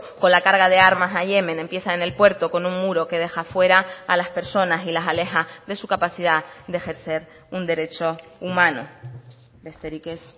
con la carga de armas a yemen empieza en el puerto con un muro que deja fuera a las personas y las aleja de su capacidad de ejercer un derecho humano besterik ez